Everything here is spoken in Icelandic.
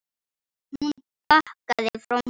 Hún bakkaði frá honum.